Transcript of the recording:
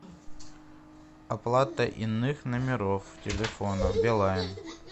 оплата иных номеров телефона билайн